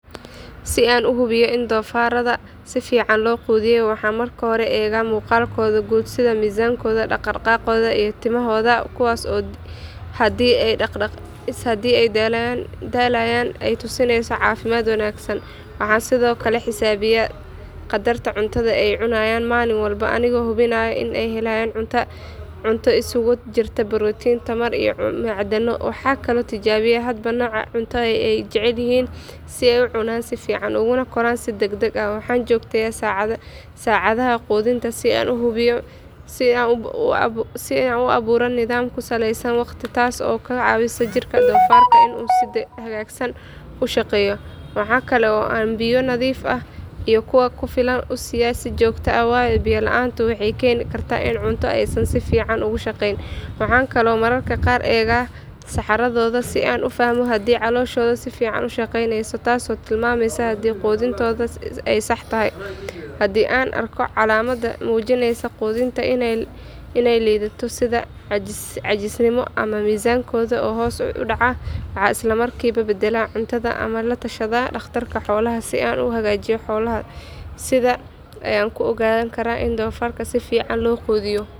Si an uhubiyo in dofaradha sifican loo qudhiyo waxan marka hore ega muqalkodha gud sidha mizankodha, daqdaqagodha iyo timahodha kuwas oohadi ey dalalayan ey tusineyso cafimad wanagsan, waxan sidhokale xisabiya qadarta cuntadha ey cunayan malin walbo anigo hubinaya iney helayan cunta isugujirta protein tamar iyo macdano, waxa kalo tijabiya cunta waxakalo tijabiya hadba noca cunta eyy jecelyihin si eyy ucunan si fican uguna koran si dagdag ahh, waxan jogteya sacadhaha qudhinta si ann uaburo nidham kusaleysan waqti qas oo kacawisa jirka dofarka si hagagsan ushaqeyo, waxa kale oo biya nadhif ahh iyo kuwa kufilan usiya si jogta ahh wayo biya laanta waxey keni karta in cunta aysan si fican ugu shaqeyn, waxa kalo mararka qar ega saxaradhodha si ann ufahmo hadi caloshodha si fican ushaqeyneyso tas oo tilmameysa haday qudhintodha sax tahay, hadi ann arko calamad mujineysa qudhintodha iney lidhato sidha cajisnima ama mizankodha oo hos udaca waxa islamrkiba badala ama latashadha daqtarka xolaha, sidha uwanajiyo xolaha, sidha ayan kuogankara in donfarka si fican loqudhiyo.